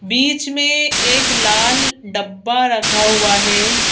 बीच में एक लाल डब्बा रखा हुआ है।